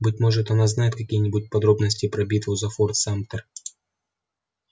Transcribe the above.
быть может она знает какие-нибудь подробности про битву за форт самтер